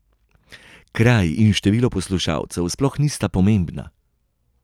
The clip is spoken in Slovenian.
Kraj in število poslušalcev sploh nista pomembna.